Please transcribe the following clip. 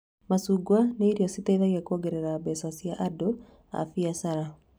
Macungwa nĩ irio citeithagia kuongerera mbeca cia andu a mbiacara